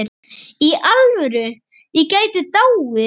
Í alvöru, ég gæti dáið.